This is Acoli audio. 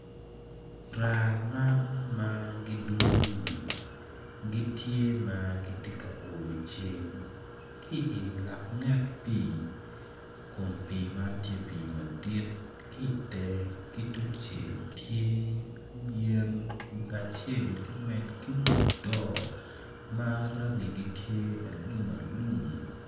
Raa man magidwong ni gitye ma gitye ka oyo ceng ki ilak nget pi kun pi man tye pi madit kitenge ki tung cel tye yen kacel ki wi do ma rangi gi tye alum alum